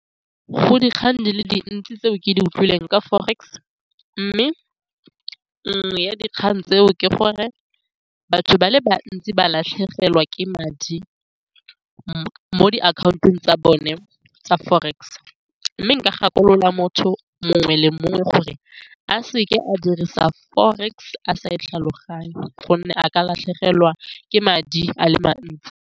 Go dikgang di le dintsi tseo ke di utlwileng ka forex mme nngwe ya dikgang tseo ke gore batho ba le bantsi ba latlhegelwa ke madi mo di-account-ong tsa bone tsa forex, mme nka gakolola motho mongwe le mongwe gore a seke a dirisa forex a sa e tlhaloganye gonne a ka latlhegelwa ke madi a le mantsi.